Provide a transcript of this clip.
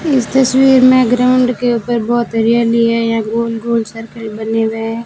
इस तस्वीर में ग्राउंड के ऊपर बहुत हरियाली हैं यहां गोल गोल सर्कल बने हुएं हैं।